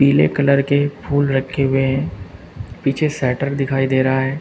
पीले कलर के फूल रखे हुए है पीछे शटर दिखाई दे रहा है।